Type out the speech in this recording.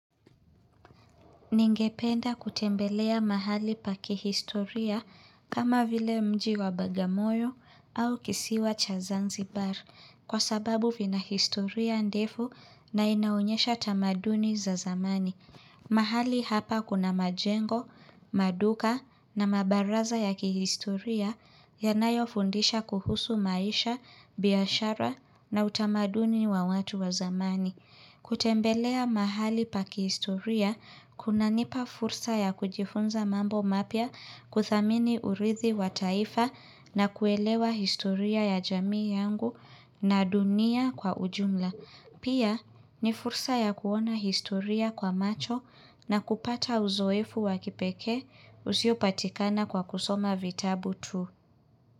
Ningependa kutembelea mahali pa kihistoria kama vile mji wa bagamoyo au kisiwa cha zanzibar kwa sababu vina kihistoria ndefu na inaonyesha tamaduni za zamani. Mahali hapa kuna majengo, maduka na mabaraza ya kihistoria yanayofundisha kuhusu maisha, biashara na utamaduni wa watu wa zamani. Kutembelea mahali pakihistoria, kunanipa fursa ya kujifunza mambo mapya kuthamini urithi wa taifa na kuelewa historia ya jamii yangu na dunia kwa ujumla. Pia ni fursa ya kuona historia kwa macho na kupata uzoefu wa kipekee usiopatikana kwa kusoma vitabu tu.